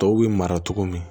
Tɔw bɛ mara cogo min